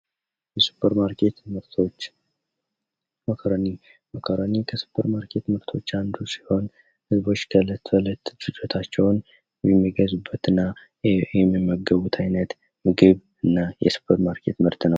የሱፐር ማርኬት ምርቶች መኮረኒ መኮረኒ ከሱፐር ማርኬት ምርቶች አንዱ ሲሆን ልጆች የእለት ተእለት ፍጆታቸውን የሚገዙበትና የሚመገቡት አይነት ምግብ እና ሱፐር ማርኬት ምርት ነው።